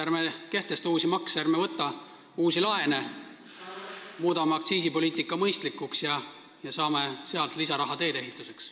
Ärme kehtestame uusi makse, ärme võtame uusi laene, muudame aktsiisipoliitika mõistlikuks ja saame sealt lisaraha teedeehituseks.